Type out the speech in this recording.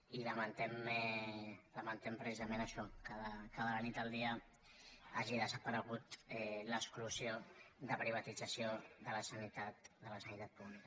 i lamentem precisament això que de la nit al dia hagi desaparegut l’exclusió de privatització de la sanitat pública